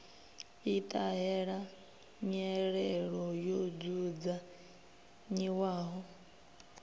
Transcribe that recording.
i ṱahela nyelelo yo dzudzanyiwaho